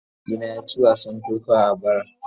Mahaifina ya ci wasan kokawa a bara.